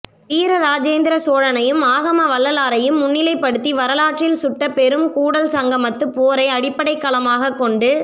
வீர ராஜேந்திர சோழனையும் ஆகம வல்லாரையும் முன்னிலை படுத்தி வரலாற்றில் சுட்டப்பெறும் கூடல் சங்கமத்து போரை அடிப்படைக் களமாக கொண்டு